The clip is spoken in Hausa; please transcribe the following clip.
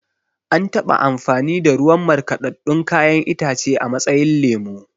An taɓa amfani da ruwan markaɗaɗɗun kayan itace a matsayin lemo